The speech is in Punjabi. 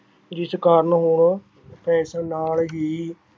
ਜਿਸ ਕਾਰਨ ਹੁਣ fashion ਨਾਲ ਹੀ